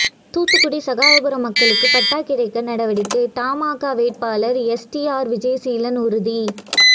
தூத்துக்குடி சகாயபுரம் மக்களுக்கு பட்டா கிடைக்க நடவடிக்கை தமாகா வேட்பாளர் எஸ்டிஆர் விஜயசீலன் உறுதி